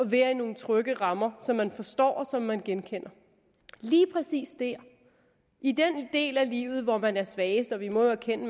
være i nogle trygge rammer som man forstår og som man genkender lige præcis dér i den del af livet hvor man er svagest og vi må jo erkende